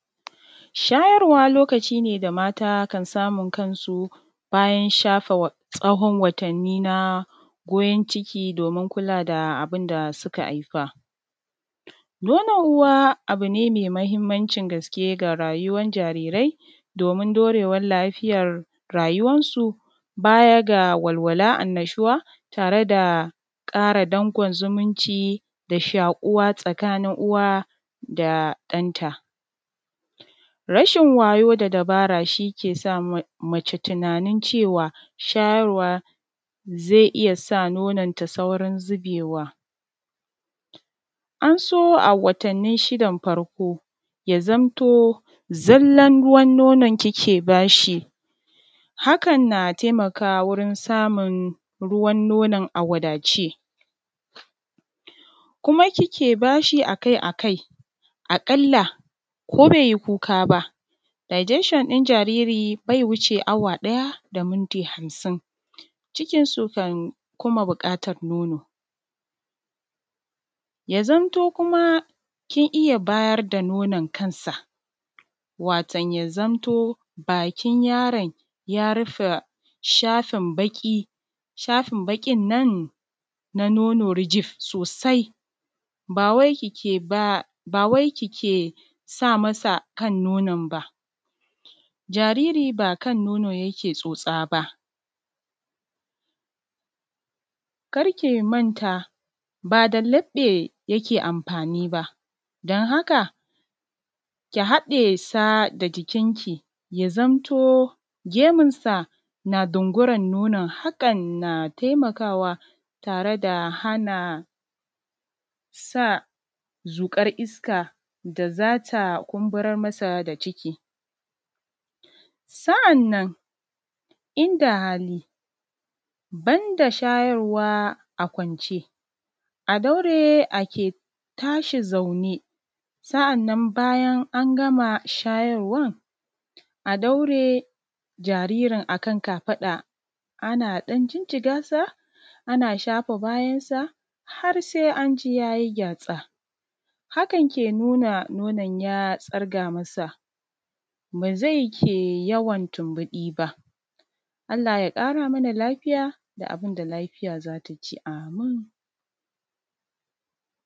Shayarwa, lokaci ne da mata kan samun kansu, bayan shafe tsahon watanni na goyon ciki, domin kula da abin da suka aifa. Nonon uwa, abu ne me mahimmancin gaske ga rayuwan jarirai, domin dorewan lafiyar rayuwansu, baya ga walwala, annashuwa, tare da ƙara dankon zumunci da shaƙuwa tsakanin uwa da ɗanta. Rashin wayo da dabara, shi ke sa ma; mace tinanin cewa, shayarwa ze iya sa nononta saurin zibewa. An so, a watannin shidan farko, ya zanto zallan ruwan nonon kike ba shi, hakan na temakawa wajen samun ruwan nonon a wadace. Kuma, kike ba shi a kai a kai, aƙalla ko bai yi kuka ba, ‘radiation “ɗin jariri, bai wuce awa ɗaya da minti hamsin, cikinsu kan kuma biƙatan nono. Ya zamto kuma, kin iya bayar da nonon kansa, wato ya zamto bakin yaran, ya rifa shafin baƙi, shafin baƙin nan na nono rijif, sosai. Ba wai kike ba; ba wai kike sa masa kan nonon ba, jariri ba kan nono yake tsotsa ba. Kar ki manta, ba da laƃƃe yake amfani ba, dan haka, ki haɗe sa da jikinki, ya zamto gemunsa na dunguran nonon. Haƙan, na temakawa tare da hana sa zuƙar iska da za ta kumburar masa da ciki. Sa’annan, in da hali, ban da shayarwa a kwance, daure ake tashi zaune, sa’annan, bayan an gama shayarwan, a daure jaririn a kan kafaɗa. Ana ɗan jijjiga sa, ana shafa bayansa, har sai an ji ya yi gyatsa. Hakan, ke nuna nonon ya tsirga masa, ba zai ke yawan tunbuɗi ba. Allah ya ƙara mana lafiya, da abin da lafiya za ta ci.